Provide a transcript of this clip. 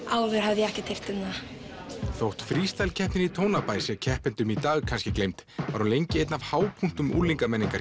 áður hafði ég ekkert heyrt um þetta þótt Freestyle keppnin í Tónabæ sé keppendum í dag kannski gleymd var hún lengi einn af hápunktum